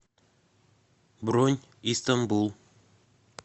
бронь истанбул